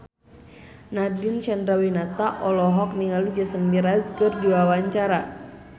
Nadine Chandrawinata olohok ningali Jason Mraz keur diwawancara